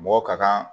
Mɔgɔ ka kan